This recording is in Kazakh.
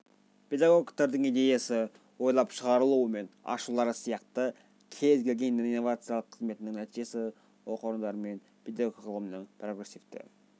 педагогтердің идеясы ойлап шығарулары мен ашулары сияқты кез келген инновациялық қызметінің нәтижесі оқу орындары мен педагогика ғылымының прогрессивті